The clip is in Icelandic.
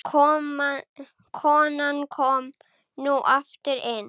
Konan kom nú aftur inn.